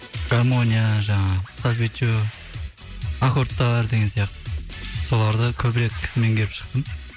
гармония жаңағы сольфеджио аккордтар деген сияқты соларды көбірек меңгеріп шықтым